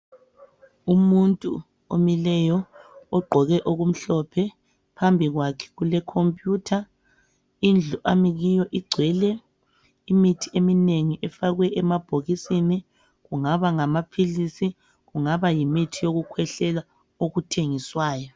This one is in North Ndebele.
Umuntu omileyo, ogqoke okumhlophe, phambi kwakhe kule computer . Indlu ami kiyo igcwele imithi eminengi efakwe emabhokisini, kungaba ngamaphilisi kungaba yimithi yokukhwehlela okuthengiswayo.